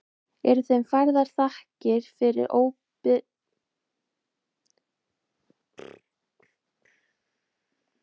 Eru þeim færðar þakkir fyrir óbrigðula vandvirkni og staka lipurð og þolinmæði við langsótt verk.